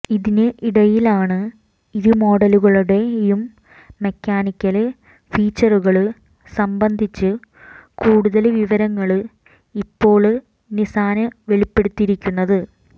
ഇതിന് ഇടയിലാണ് ഇരുമോഡലുകളുടെയും മെക്കാനിക്കല് ഫീച്ചറുകള് സംബന്ധിച്ച് കൂടുതല് വിവരങ്ങള് ഇപ്പോള് നിസ്സാന് വെളിപ്പെടുത്തിരിക്കുന്നത്